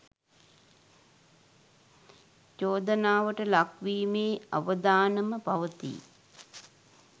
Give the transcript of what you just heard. චෝදනාවට ලක් වීමේ අවදානම පවතී